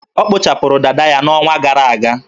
Ọ kpụchapụrụ dada ya n'ọnwa gara aga.